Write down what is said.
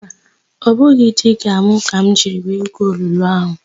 Mba, ọ bụ diga ka m jiri wee gwuo olulu áhụ̀.